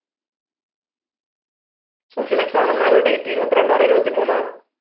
social exam എന്നായിരുന്നു date ഇരുപത്രണ്ടോ or ഇരുപത്തിമൂന്നോ